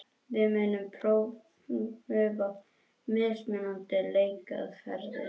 Við munum prufa mismunandi leikaðferðir.